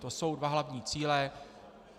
To jsou dva hlavní cíle.